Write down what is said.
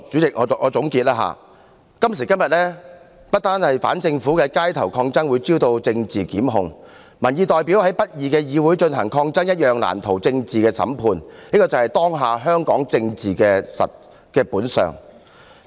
讓我總結，今時今日，不但反政府的街頭抗爭會招來政治檢控，民意代表在不公義的議會進行抗爭一樣難逃政治審判，這便是當下香港政治的本相。